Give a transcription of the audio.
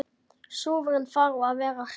Súrinn þarf að vera hress!